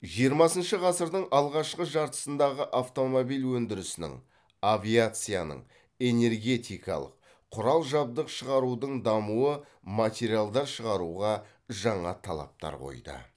жиырмасыншы ғасырдың алғашқы жартысындағы автомобиль өндірісінің авиацияның энергетикалық құрал жабдық шығарудың дамуы материалдар шығаруға жаңа талаптар қойды